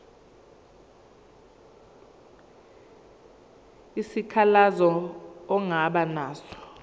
isikhalazo ongaba naso